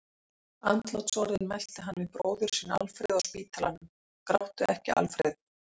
Andlátsorðin mælti hann við bróður sinn Alfreð á spítalanum: Gráttu ekki, Alfreð!